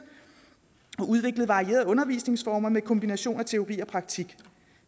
og udvikle varierede undervisningsformer med kombination af teori og praktik